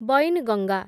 Wainganga